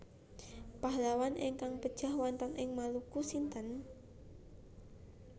Pahlawan ingkang pejah wonten ing Maluku sinten?